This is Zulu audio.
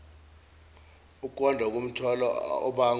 ukwanda komthwalo obangwa